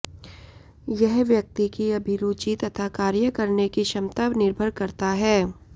यह व्यक्ति की अभिरुचि तथा कार्य करने की क्षमता पर निर्भर करता है